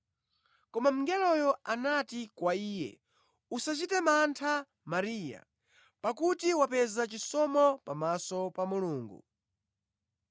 Koma mngeloyo anati kwa iye, “Usachite mantha Mariya, pakuti wapeza chisomo pamaso Mulungu.